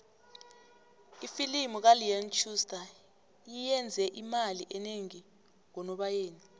ifilimu kaleon schuster iyenze imali enengi ngonobayeni